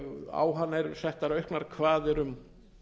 á hana eru settar auknar kvaðir um